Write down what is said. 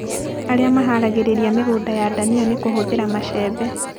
Arĩmi maharagĩrĩria mĩgũnda ya ndania na kũhũthĩra macembe